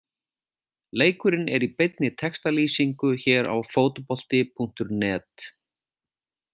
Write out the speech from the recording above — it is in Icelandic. Leikurinn er í beinni textalýsingu hér á Fótbolti.net.